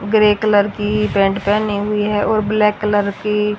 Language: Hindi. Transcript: ग्रे कलर की पैंट पहनी हुई है और ब्लैक कलर की--